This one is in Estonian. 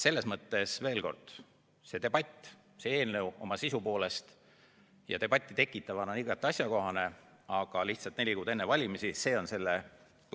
Selles mõttes, veel kord, see debatt, see eelnõu oma sisu poolest debatti tekitavana on igati asjakohane, aga neli kuud enne valimisi.